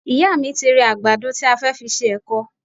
Ìyá mi ti rẹ àgbàdo tí a fẹ́ fi ṣe èkọ